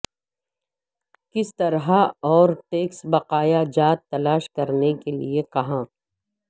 کس طرح اور ٹیکس بقایا جات تلاش کرنے کے لئے کہاں